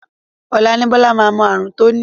Ọ̀la ni Bọ́lá máa mọ ààrùn tó ní